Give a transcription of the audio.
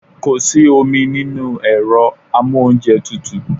Kò sí omi nínú ẹ̀rọ amóúnjẹtutù.